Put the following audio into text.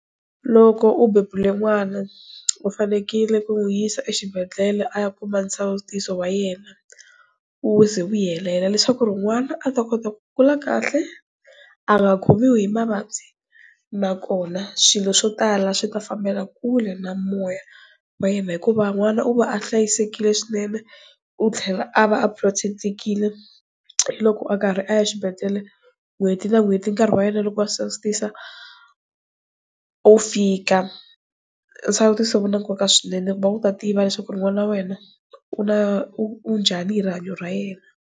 Loko u bebule n'wana u fanekele ku n'wi yisa exibedhlele a ya kuma nsawutiso wa yena u ze u helela leswaku ri n'wana a ta kota ku kula kahle a nga khomiwi hi mavabyi nakona swilo swo tala swi ta fambela kule na moya wa yena hikuva n'wana u va a hlayisekile swinene u tlhela a va a protect-tekile loko a karhi a ya xibedhlele n'hweti na n'hweti nkarhi wa yena loko a sawutisa u fika, nsawutiso u na nkoka swinene ku va u ta tiva leswaku ri n'wana na wena u na u njhani hi rihanyo ra yena.